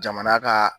Jamana ka